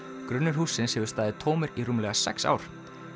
grunnur hússins hefur staðið tómur í rúmlega sex ár